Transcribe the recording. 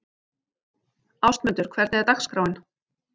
Ástmundur, hvernig er dagskráin?